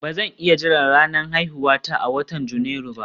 Ba zan iya jira ranar haihuwata a watan Janairu ba